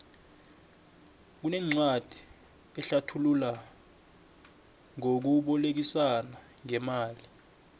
kunencwadi ehlathula ngokubolekisana ngemali